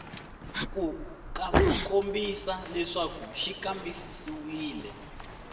ku kombisa leswaku xi kambisisiwile